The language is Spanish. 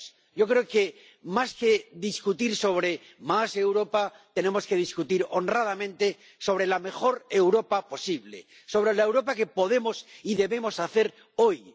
Yo creo que, más que discutir sobre más Europa, tenemos que discutir honradamente sobre la mejor Europa posible, sobre la Europa que podemos y debemos hacer hoy.